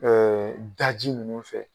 daji ninnu fɛ.